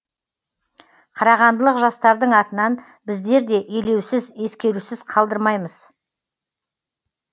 қарағандылық жастардың атынан біздер де елеусіз ескерусіз қалдырмаймыз